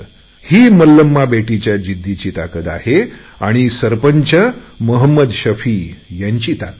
ही मल्लमाच्या जिद्दीची ताकत आहे आणि गावप्रमुख मोहम्मद शफीची ताकत आहे